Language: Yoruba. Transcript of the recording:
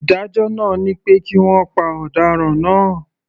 Ìdájọ́ náà ni pé kí wọ́n pa ọ̀daràn náà.